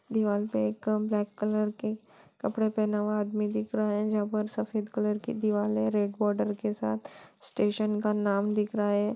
दीवाल पर एक ब्लैक कलर के कपड़े पहना हुआ आदमी दिख रहा है जहां पर सफेद कलर की दीवार है रेड बॉर्डर के साथ स्टेशन का नाम दिख रहा हे